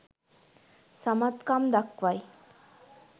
සමත් කම් දක්වයි.